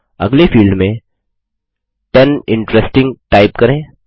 अगले फील्ड में ten interesting type करें